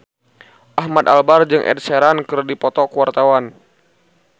Ahmad Albar jeung Ed Sheeran keur dipoto ku wartawan